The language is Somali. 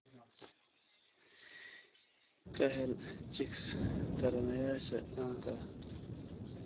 Ka hel chicks taranayaasha caanka ah.